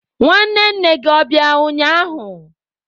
Nwanne nne gi o bia ụnyahụ?